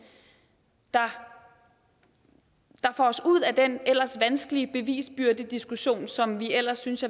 der får os ud af den ellers vanskelige bevisbyrdediskussion som jeg ellers synes